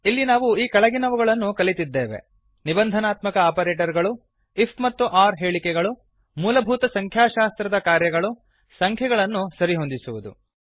ಇಲ್ಲಿ ನಾವು ಈ ಕೆಳಗನವುಗಳನ್ನು ಕಲಿತ್ತಿದ್ದೇವೆ ನಿಬಂಧನಾತ್ಮಕ ಆಪರೇಟರ್ ಗಳು ಐಎಫ್ ಮತ್ತು ಒರ್ ಹೇಳಿಕೆಗಳು ಮೂಲಭೂತ ಸಂಖ್ಯಾಶಾಸ್ತ್ರದ ಕಾರ್ಯಗಳು ಸಂಖ್ಯೆಗಳನ್ನು ಸರಿಹೊಂದಿಸುವುದು